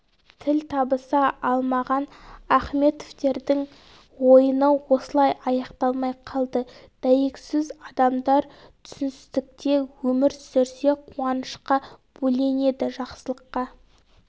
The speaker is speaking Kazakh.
тіл табыса алмаған ахметовтердң ойыны осылай аяқталмай қалды дәйексөз адамдар түсіністікте өмір сүрсе қуанышқа бөленеді жақсылыққа